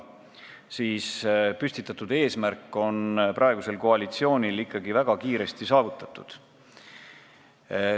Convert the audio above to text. Nüüd on koalitsioonil püstitatud eesmärk ikkagi väga kiiresti saavutatud.